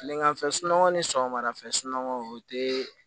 Tileganfɛ sunɔgɔ ni sɔgɔmadafɛ sunsunɔgɔ o tɛ